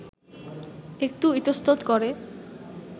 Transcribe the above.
একটু ইতস্তত করে